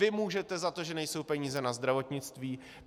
Vy můžete za to, že nejsou peníze na zdravotnictví.